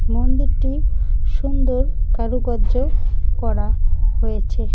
মন্দিরটি সুন্দর কারুকার্য করা হয়েছে।